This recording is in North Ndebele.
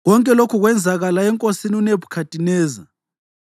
Konke lokhu kwenzakala enkosini uNebhukhadineza.